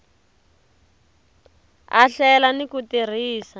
a hlela ni ku tirhisa